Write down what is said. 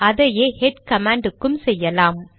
அதையே head command க்கு செய்யலாம்